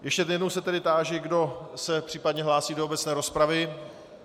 Ještě jednou se tedy táži, kdo se případně hlásí do obecné rozpravy.